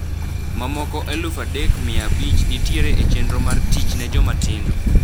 Mamoko eluf adek mia abich nitiere e chenro mar 'Tich ne Jomatindo'.